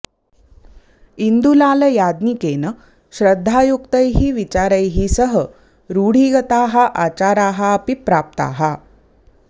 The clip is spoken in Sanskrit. इन्दुलाल याज्ञिकेन श्रद्धायुक्तैः विचारैः सह रूढिगताः आचाराः अपि प्राप्ताः